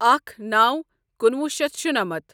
اکھ نو کُنوُہ شٮ۪تھ شُنَمتھ